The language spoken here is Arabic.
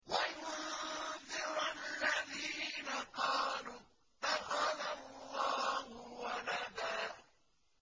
وَيُنذِرَ الَّذِينَ قَالُوا اتَّخَذَ اللَّهُ وَلَدًا